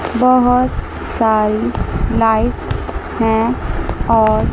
बहोत सारी लाइट्स हैं और--